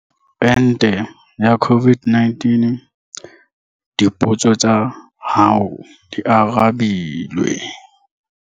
Ente ya COVID-19. Dipotso tsa hao di arabilwe.